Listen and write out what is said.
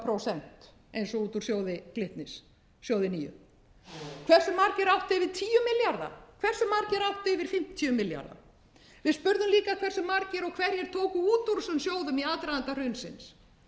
prósent eins og út úr sjóði glitnis sjóði níundi hversu margir áttu yfir tíu milljarða hversu margir áttu yfir fimmtíu milljarða við spurðum líka hversu margir og hverjir tóku út úr þessum sjóðum í aðdraganda hrunsins nú er það